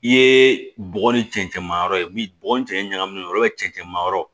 I ye bɔgɔ ni cɛncɛn ma yɔrɔ ye min bɔgɔ ni cɛncɛn ɲagaminen don cɛncɛn ma yɔrɔ